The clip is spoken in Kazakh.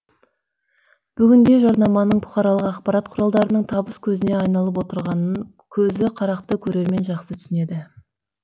бүгінде жарнаманың бұқаралық ақпарат құралдарының табыс көзіне айналып отырғанын көзі қарақты көрермен жақсы түсінеді